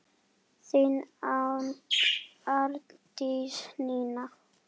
Þín Arndís Nína.